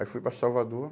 Aí fui para Salvador.